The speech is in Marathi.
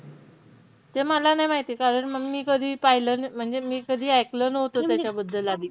ते मला नाही माहिती. कारण मंग मी कधी पाहिलं. म्हणजे मी कधी ऐकलं नव्हतं त्याच्याबद्दल आधी.